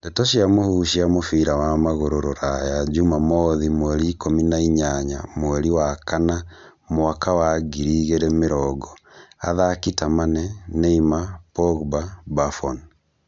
Ndeto cia mũhuhu cia mũbira wa magũrũ Rũraya juma mothi mweri ikũmi na inyanya mweri wa kana mwaka wa ngiri igĩrĩ mĩrongo athaki ta Mane, Neymar, Pogba, Buffon